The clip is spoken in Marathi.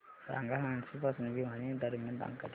सांगा हान्सी पासून भिवानी दरम्यान आगगाडी